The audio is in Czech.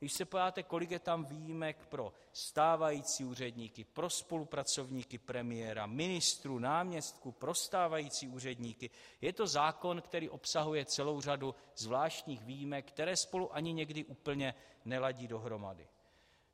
Když se podíváte, kolik je tam výjimek pro stávající úředníky, pro spolupracovníky premiéra, ministrů, náměstků, pro stávající úředníky, je to zákon, který obsahuje celou řadu zvláštních výjimek, které spolu ani někdy úplně neladí dohromady.